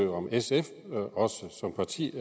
var om sf som parti